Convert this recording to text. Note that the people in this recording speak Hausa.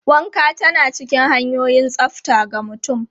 Wanka tana cikin hanyoyin tsafta ga mutum.